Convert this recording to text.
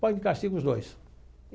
Põe de castigo os dois.